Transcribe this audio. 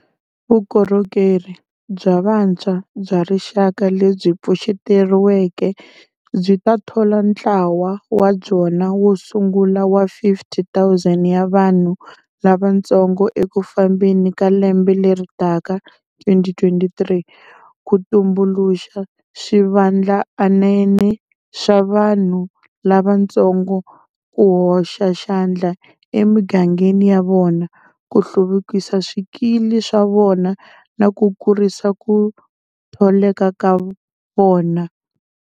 Vukorhokeri bya Vantshwa bya Rixaka lebyi pfuxetiweke byi ta thola ntlawa wa byona wo sungula wa 50 000 ya vanhu lavantsongo eku fambeni ka lembe leri taka [2023], ku tumbuluxa swivandlanene swa vanhu lavantsongo ku hoxa xandla emigangeni ya vona, ku hluvukisa swikili swa vona na ku kurisa ku tholeka ka vona.